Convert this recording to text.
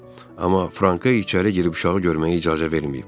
Amma Franka içəri girib uşağı görməyə icazə verməyib.